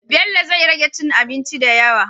bello zai rage cin abinci dayawa